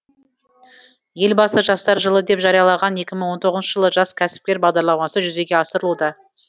елбасы жастар жылы деп жариялаған екі мың он тоғызыншы жылы жас кәсіпкер бағдарламасы жүзеге асырылуда